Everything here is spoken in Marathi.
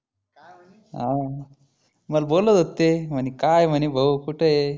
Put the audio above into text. हा मला बोलत होते ते म्हणी काय म्हणी भाऊ कुठ आहे?